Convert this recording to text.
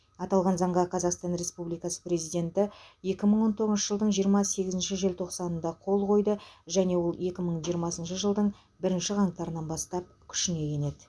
аталған заңға қазақстан республикасы президенті екі мың он тоғызыншы жылдың жиырма сегізінші желтоқсанында қол қойды және ол екі мың жиырмасыншы жылдың бірінші қаңтарынан бастап күшіне енеді